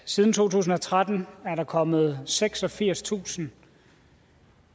siden to tusind og tretten er kommet seksogfirstusind